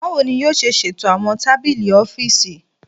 Bawo ni yoo ṣe ṣeto awọn tabili ọfiisi?